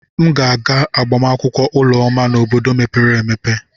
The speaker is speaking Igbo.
M ga-aga agbamakwụkwọ Ụlọma n'obodo mepere emepe.